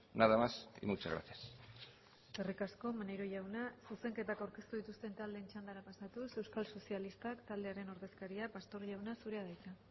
nada más y muchas gracias eskerrik asko maneiro jauna zuzenketak aurkeztu dituzten taldeen txandara pasatuz euskal sozialistak taldearen ordezkaria pastor jauna zurea da hitza